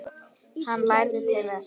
Hann lærði til verka.